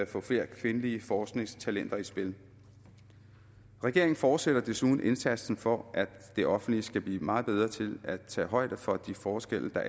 få flere kvindelige forskningstalenter i spil regeringen fortsætter desuden indsatsen for at det offentlige skal blive meget bedre til at tage højde for de forskelle